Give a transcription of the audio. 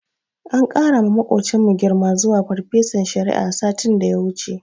An ƙarawa maƙocinmu girma zuwa farfesan shari'a, satin da ya wuce.